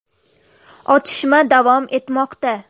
Otishma davom etmoqda.